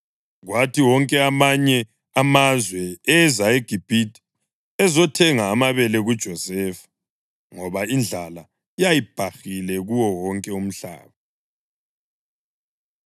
Kwathi wonke amanye amazwe eza eGibhithe ezothenga amabele kuJosefa, ngoba indlala yayibhahile kuwo wonke umhlaba.